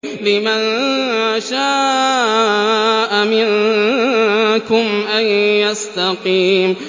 لِمَن شَاءَ مِنكُمْ أَن يَسْتَقِيمَ